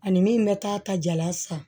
Ani min bɛ taa ta jala san